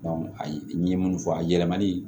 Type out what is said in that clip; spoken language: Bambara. ayi n ye minnu fɔ a yɛlɛmani